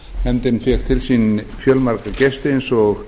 nefndin fékk til sín fjölmarga gesti eins og